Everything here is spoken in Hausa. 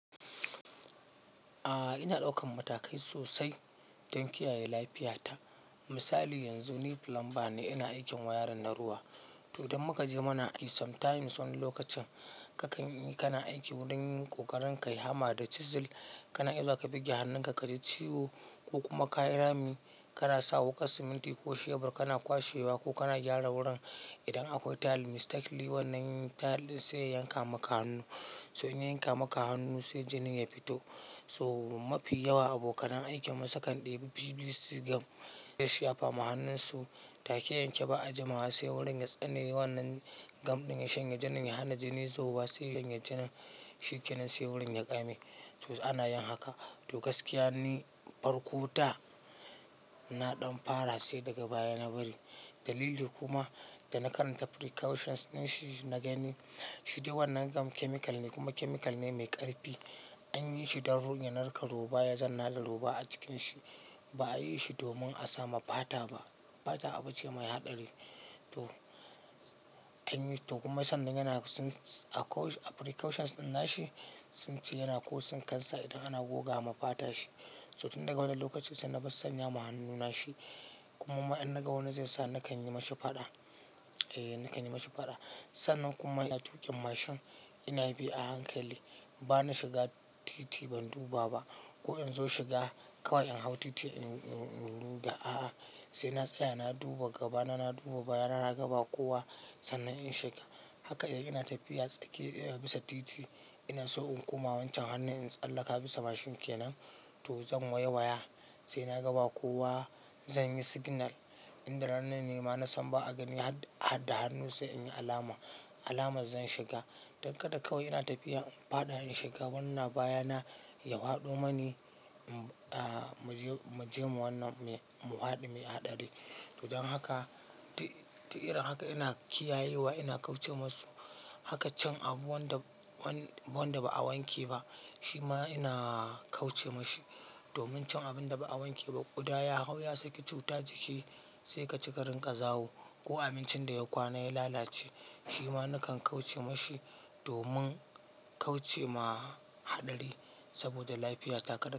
A'a ina daukan matakai sosai don kiyaye lafiyata. Misali yanzu ni plumber ne ina aikin wayarin na ruwa. Toh don muka je mana aiki sometimes wani lokacin kakan yi kana aiki wajen yin ƙoƙarin ka yi hama da chisel kana iya za ka bugge hannunka ka ji ciwo ko kuma ka yi rami kana sa wuƙar siminti ko shebur kana kwashewa ko kana gyara wurin idan akwai tile mistakenly wannan tile sai yanka maka hannu. Sai in yanka maka hannu sai jinin ya fito. Toh mafi yawa abokan aiki mun sa kan ɗebi BBC gum ya shafa ma hannunsu ta keyanke ba a jima'a sai wurin ya tsane wannan gum ɗin ya shanye jinin, ya hana jini zuba sai yanya jinin shi kenan sai wurin ya ƙame. To ana yin haka. Toh gaskiya ni farko da, na ɗan fara sai daga baya na bari. Dalili kuma da na karanta precautions na shi na gani shi dai wannan gum chemical ne kuma chemical ne mai ƙarfi. An yi shi don runye na ranƙa roba ya zan narke roba a cikin shi. Ba a yi shi domin a samu fata ba. Fata abu ce mai haɗari. Toh, an yi toh kuma sannan yana precautions din na shi sun ce yana ko tsinkansa idan ana goga ma fata shi. So tun daga wannan lokacin sai na bar sanya ma hannuna shi. Kuma ma in na ga wani zai sai na kan yi ma shi faɗa. Eh, na kan yi ma shi faɗa. Sannan kuma ina tuƙin mashin ina bi a hankali. Ba na shiga titi ban duba ba. Ko in zo shiga kawai in hau titi in, in, in duba. A'a sai na tsaya na duba gaba na, na duba baya na, na ga ba kowa sannan in shiga. Haka yana tafiya tsake bisa titi ina so in kuma wancan hannun in tsallaka bisa mashin kenan toh zan waiwaya. Sai na ga ba kowa zan yi signal in da rannan nema na san ba a gani had, hadda hannu sai in yi alama, alamar zan shiga. Don kada kawai ina tafiya in faɗa in shiga wanni na baya na ya faɗo mani, m, a, mu je, mu je mu wannan, mu faɗo me haɗari. Toh, don haka, ta, ta irin haka ina kiyayewa ina kauce ma su. Haka cin abu wanda, wanda ba a wanke ba shi ma ina, kauce ma shi. Domin cin abin da ba a wanke ba ƙuda ya hau ya sake cutar ciki sai ka ci rinƙa zawo ko abincin da ya kwana ya lalace. Shi ma na kan kauce ma shi domin kauce ma haɗari saboda lafiyata kaɗa,